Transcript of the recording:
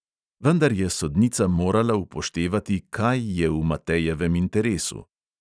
Vendar je sodnica morala upoštevati, kaj je v matejevem interesu.